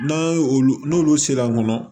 N'an ye olu n'olu sera a kɔnɔ